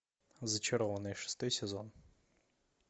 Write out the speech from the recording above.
зачарованные шестой сезон